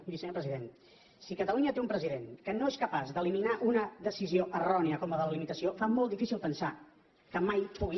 miri senyor president si catalunya té un president que no és capaç d’eliminar una decisió errònia com la de la limitació fa molt difícil pensar que mai pugui